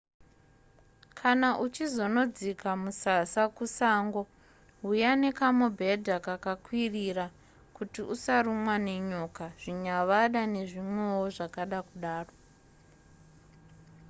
kana uchizonodzika musasa kusango huya nekamubhedha kakakwirira kuti usarumwa nenyoka zvinyavada nezvimwewo zvakada kudaro